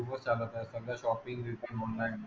खूपच चालत आहे. सगळं शॉपिंग, बिपिंग म्हणून नाही.